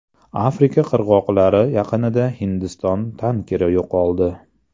Afrika qirg‘oqlari yaqinida Hindiston tankeri yo‘qoldi.